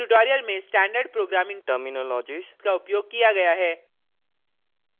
इस tutorial में standard programming terminologies का उपयोग किया गया है